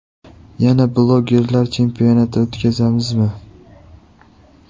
Yana blogerlar chempionati o‘tkazamizmi?